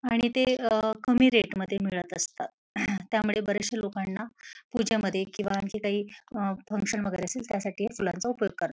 आणि ते अ कमी रेट मध्ये मिळत असतात. त्यामुळे बराचश्या लोकांना पूजेमध्ये किवा आणखी काही अ फंक्शन वगेरे असेल त्यासाठी या फुलांचा उपयोग करतात.